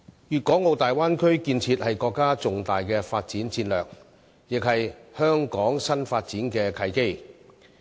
粵港澳大灣區建設是國家重大的發展戰略，亦是香港新發展的契機。